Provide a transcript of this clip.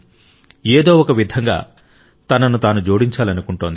ఏదో ఒక విధంగా తనను తాను జోడించాలనుకుంటోంది